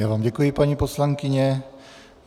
Já vám děkuji, paní poslankyně.